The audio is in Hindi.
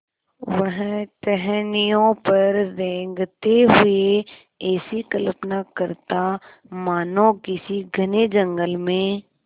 वह टहनियों पर रेंगते हुए ऐसी कल्पना करता मानो किसी घने जंगल में